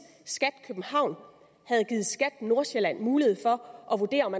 skat københavn havde givet skat nordsjælland mulighed for at vurdere om